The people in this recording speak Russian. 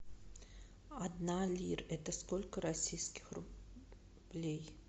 одна лир это сколько российских рублей